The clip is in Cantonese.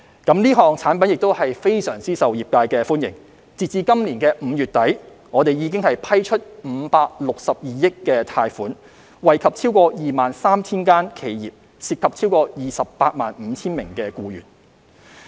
這項產品非常受業界歡迎，截至今年5月底，已批出562億元貸款，惠及超過 23,000 間企業，涉及超過 285,000 名僱員。